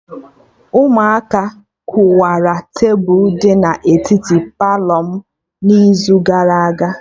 Ụmụaka kụwara tebụl dị na etiti Palọ m n'izu gara aga